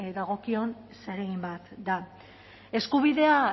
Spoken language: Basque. dagokion zeregin bat da eskubidea